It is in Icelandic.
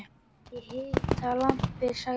Ég hita lambið, sagði Óskar.